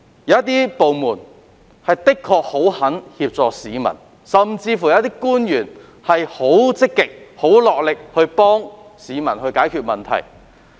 有部門的確十分樂意協助市民，甚至有官員很積極落力幫助市民解決問題。